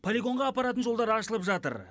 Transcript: полигонға апаратын жолдар ашылып жатыр